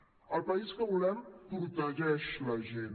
el país que volem protegeix la gent